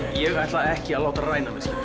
ég ætla ekki að láta ræna mig